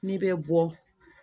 N'i bɛ bɔ